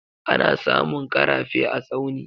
Ana samun karafe a Tsauni.